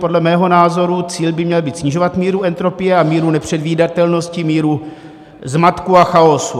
Podle mého názoru cíl by měl být snižovat míru entropie a míru nepředvídatelnosti, míru zmatku a chaosu.